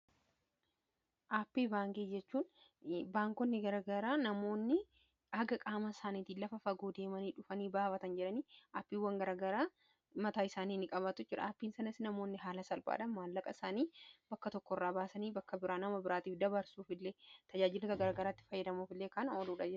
aappii baangijechuun baankonni garagaraa namoonni aga-qaama isaaniitiin lafa fagoo deemanii dhufanii baabatan jedhanii aappiiwwan garagaraa mataa isaanii i qabaatu jer aapiin sanasi namoonni haala salphaadha maanlaqa isaanii bakka tokko irraa baasanii bakka biraa nama biraatiif dabaarsuuf illee tajaajiluta garagaraatti fayyadamuuf illee kan oluuda